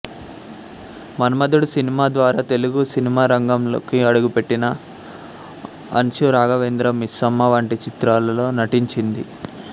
మన్మధుడు cinema ద్వారా తెలుగు సినిమారంగంలోకి అడుగుపెట్టిన అన్షు రాఘవేంద్ర మిస్సమ్మ వంటి చిత్రాలలో నటించింది